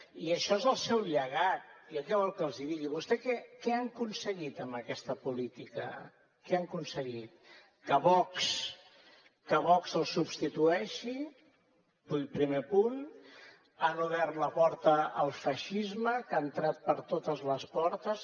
i això és el seu llegat jo què vol que els digui vostès què han aconseguit amb aquesta política què han aconseguit que vox els substitueixi primer punt han obert la porta al feixisme que ha entrat per totes les portes